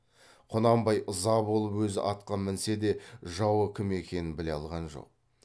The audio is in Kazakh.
құнанбай ыза болып өзі атқа мінсе де жауы кім екенін біле алған жоқ